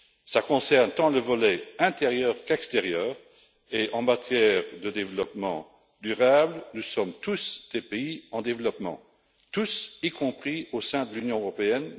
Cela concerne le volet tant intérieur qu'extérieur et, en matière de développement durable, nous sommes tous des pays en développement, y compris au sein de l'Union européenne.